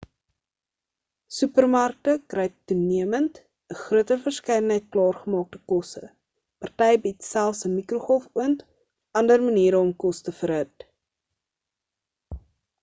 supermarkte kry toenemend 'n groter verskeidenheid klaargemaakte kosse party bied selfs 'n mikrogolfoond of ander maniere om kos te verhit